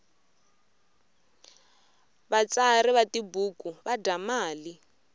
vatsari va tibuku va dya mali